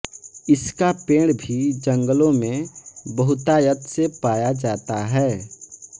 इसका पेड़ भी जंगलों में बहुतायत से पाया जाता है